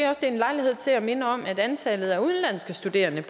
er en lejlighed til at minde om at antallet af udenlandske studerende